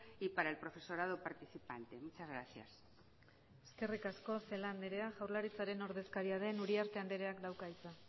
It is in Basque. y para el profesorado participante muchas gracias eskerrik asko celaá andrea jaurlaritzaren ordezkaria den uriarte andreak dauka hitza